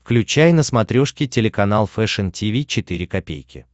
включай на смотрешке телеканал фэшн ти ви четыре ка